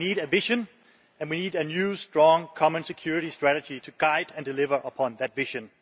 We need a vision and we need a new strong common security strategy to guide and deliver upon that vision.